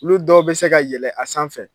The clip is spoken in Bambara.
Olu dɔw bɛ se ka yɛlɛ a sanfɛ